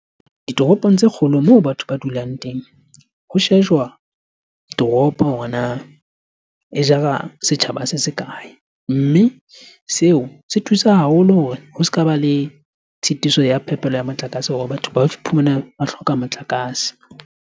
Ditoropong tse kgolo moo batho ba dulang teng, ho shejwa toropo hore na e jara setjhaba se se kae? Mme seo se thusa haholo hore ho se ka ba le tshitiso ya phepelo ya motlakase hore batho ba iphumane ba hloka motlakase.